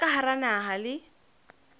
tsa ka hara naha le